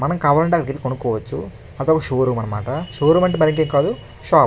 మనకి కావాలంటే అక్కడికి వెళ్ళి కొనుకోవచ్చు. అదొక షోరూం అన్నమాట. షోరూం అంటే మరీ ఇంకేం కాదు షాప్ .